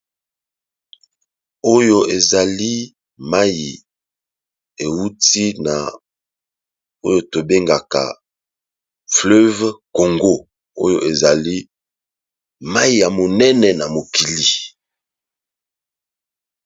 oyo ezali mai euti na oyo tobengaka fleuve congo oyo ezali mai ya monene na mokili